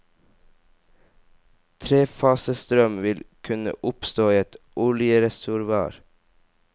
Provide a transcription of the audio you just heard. Trefasestrøm vil kunne oppstå i et oljereservoar.